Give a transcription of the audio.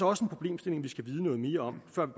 også en problemstilling vi skal vide noget mere om før